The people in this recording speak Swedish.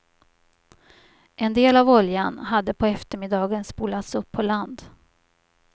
En del av oljan hade på eftermiddagen spolats upp på land.